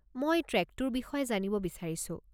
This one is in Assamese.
মই ট্ৰেকটোৰ বিষয়ে জানিব বিচাৰিছোঁ।